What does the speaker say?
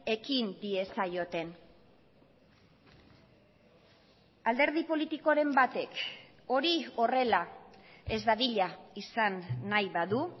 ekin diezaioten alderdi politikoren batek hori horrela ez dadila izan nahi badu